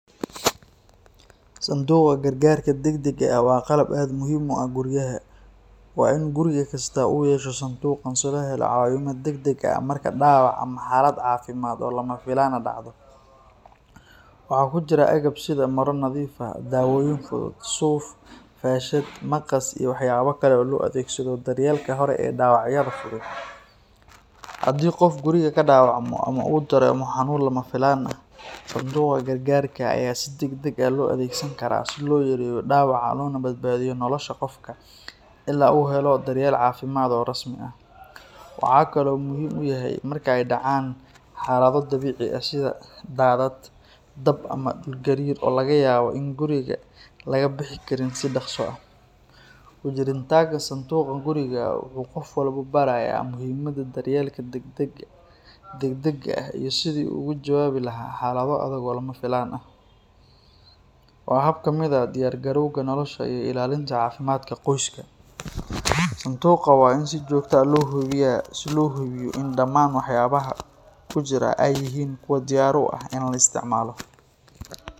Santuqa gargarka degdeg ah waa qalab aad muhim ueh guriyaha, waa ini gurigi kista uyesha santuqan si holelo cawimad degdeg ah marka dawac ama xalad cafimad oo lamafilan ah dacdo, waxa kujira egab sidaa mara nadif ah, dawoyin fudud, suuf, fashad, maqas iyo waxyabo kale oo loo adegsado daryelka hore ee dawacyada, hadi qoof guriga dawacmo ama udaremo xanun lamafilan ah sanduqa gargarka aya sii degdeg ah loo adegsani kara sii loyareyo loona badbadiyo nolosha qoofka ila uhelo daryel cafimad oo rasmi ah, waxa kale uu muhim uyahay inay dacan xalado dabici ah sidhaa daadad, daab ama dul garir oo lagayaba in guriga lagabixi karin sii daqso ah, kujiritanka santuqa guriga wuxu qoof walbo baraya muhimada daryelka degdeg ah iyo sidii ogajababi lahay xalado adaag oo lamafilan ah, waa habab kamid ah oo diyargalowga nolosha iyo ilalinta cafimadka qoska santuqa waa in si jogtoo ah loo hubiyah, si lohubiyo in daman waxyabaha kujira ay yihin kuwa diyar uah ini laa istacmalo.